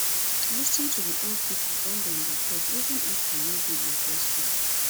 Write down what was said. lis ten to di old pipo when dem dey talk even if you no dey interested